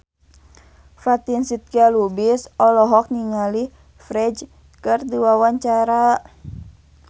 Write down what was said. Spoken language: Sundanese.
Fatin Shidqia Lubis olohok ningali Ferdge keur diwawancara